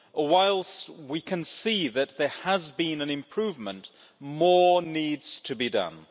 Whilst we can see that there has been an improvement, more needs to be done.